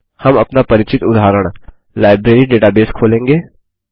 हम अपना परिचित उदाहरण लाइब्रेरी डेटाबेस खोलेंगे